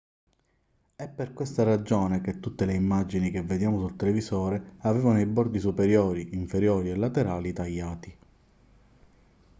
è per questa ragione che tutte le immagini che vediamo sul televisore avevano i bordi superiori inferiori e laterali tagliati